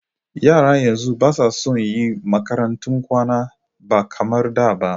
Yara yanzu basa son yi makarantun kwana ba kamar da ba